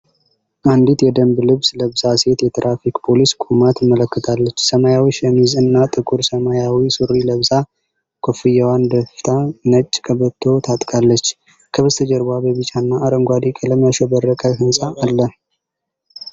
አንዲት የደንብ ልብስ ለባሽ ሴት የትራፊክ ፖሊስ ቆማ ትመለከታለች። ሰማያዊ ሸሚዝ እና ጥቁር ሰማያዊ ሱሪ ለብሳ፣ ኮፍያዋን ደፍታ ነጭ ቀበቶ ታጥቃለች። ከበስተጀርባ በቢጫና አረንጓዴ ቀለም ያሸበረቀ ሕንጻ አለ።